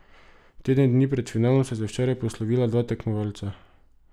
Teden dni pred finalom sta se včeraj poslovila dva tekmovalca.